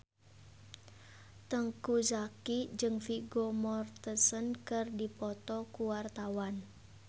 Teuku Zacky jeung Vigo Mortensen keur dipoto ku wartawan